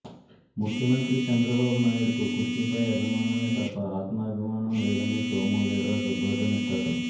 ముఖ్యమంత్రి చంద్రబాబునాయుడుకు కుర్చీపై అభిమానమే తప్ప ఆత్మాభిమానం లేదని సోము వీర్రాజు ధ్వజమెత్తారు